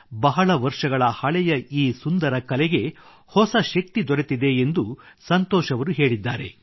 ಬಹಳ ವರ್ಷಗಳ ಹಳೆಯ ಈ ಸುಂದರ ಕಲೆಗೆ ಹೊಸ ಶಕ್ತಿ ದೊರೆತಿದೆ ಎಂದೂ ಸಂತೋಷ್ ಅವರು ಹೇಳಿದ್ದಾರೆ